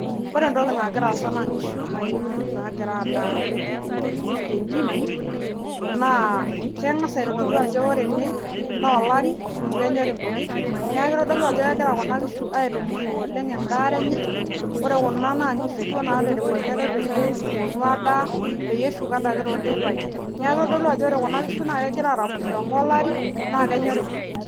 Ore entoki nagita aasa na nkishu nagira adaa tentim tengasa aitadolu ajo ore kuna kishu na kegira aitunuru endaare ena ore kuna na nkishu ake nagira aitumuru endaare enye eponu adaa peyie eshomo adake neaku ore kuna kishu na keetuo adaa ake na kenyori nkujit